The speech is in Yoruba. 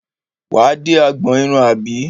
Wà á dé agbọn irun àbí?